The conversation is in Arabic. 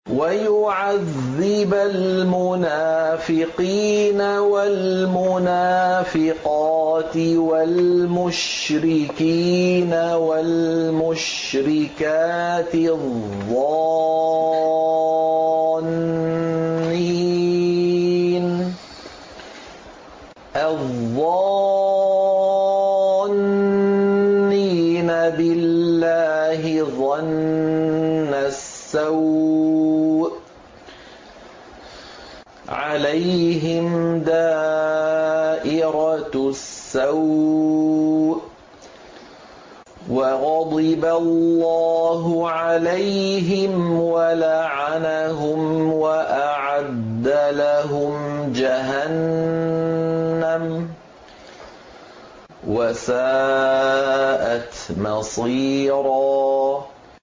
وَيُعَذِّبَ الْمُنَافِقِينَ وَالْمُنَافِقَاتِ وَالْمُشْرِكِينَ وَالْمُشْرِكَاتِ الظَّانِّينَ بِاللَّهِ ظَنَّ السَّوْءِ ۚ عَلَيْهِمْ دَائِرَةُ السَّوْءِ ۖ وَغَضِبَ اللَّهُ عَلَيْهِمْ وَلَعَنَهُمْ وَأَعَدَّ لَهُمْ جَهَنَّمَ ۖ وَسَاءَتْ مَصِيرًا